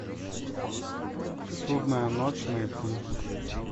судная ночь найти